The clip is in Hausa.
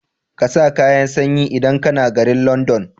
ƙasa kayan sanyi idan kAna garin London